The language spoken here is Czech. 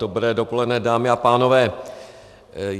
Dobré dopoledne, dámy a pánové.